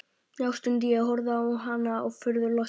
Já, stundi ég og horfði á hana furðulostinn.